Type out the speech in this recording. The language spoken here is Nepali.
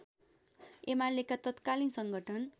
एमालेका तत्कालीन संगठन